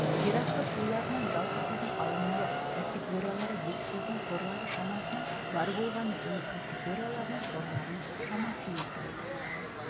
жерасты суларынан жалпы судың алынуы категориялары бекітілген қорлары шамасының бар болғаны және категорияларының қорларының шамасының құрайды